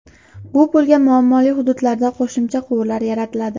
Bu pulga muammoli hududlarda qo‘shimcha quvurlar yaratiladi.